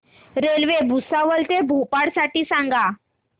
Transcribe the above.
railway Bhusawal ते भोपाळ साठी सांगा